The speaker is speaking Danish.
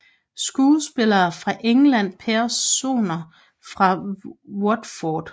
Skuespillere fra England Personer fra Watford